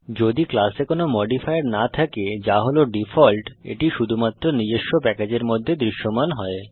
যদি ক্লাসে কোনো মডিফায়ার না থাকে যা হল ডিফল্ট এটি শুধুমাত্র নিজস্ব প্যাকেজের মধ্যে দৃশ্যমান হয়